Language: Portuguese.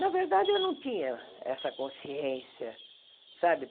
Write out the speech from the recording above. Na verdade, eu não tinha essa consciência sabe.